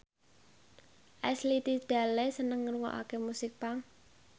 Ashley Tisdale seneng ngrungokne musik punk